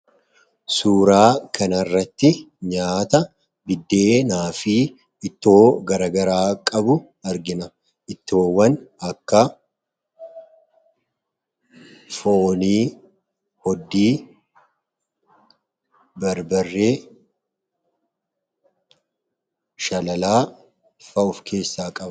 Suuraa kana irratti nyaata akkasumas ittoo garaa garaa argina. Ittoowwan kunis kan akka foonii, hoddii, barbaree, shalalaa fa'aa kan of keessaa qabuu dha.